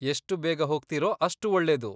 ಎಷ್ಟು ಬೇಗ ಹೋಗ್ತೀರೋ ಅಷ್ಟು ಒಳ್ಳೆದು.